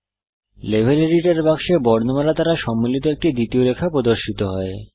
level editor বাক্সে বর্ণমালা দ্বারা সম্মিলিত একটি দ্বিতীয় রেখা প্রদর্শিত হয়